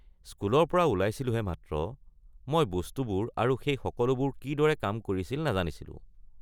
স্কুলৰ পৰা ওলাইছিলো হে মাত্ৰ, মই বস্তুবোৰ আৰু সেই সকলোবোৰ কিদৰে কাম কৰিছিল নাজানিছিলো।